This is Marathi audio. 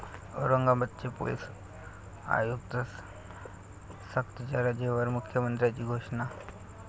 औरंगाबादचे पोलीस आयुक्त सक्तीच्या रजेवर, मुख्यमंत्र्यांची घोषणा